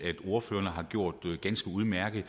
ordførerne har gjort ganske udmærket